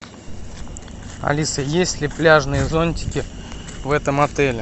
алиса есть ли пляжные зонтики в этом отеле